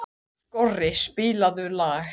Skorri, spilaðu lag.